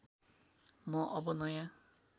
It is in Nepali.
म अब नयाँ